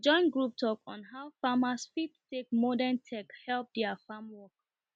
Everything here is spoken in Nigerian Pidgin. we join group talk on how farmers fit take modern tech help their farm work